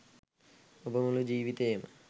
ඔබ මුළු ජීවිතයේම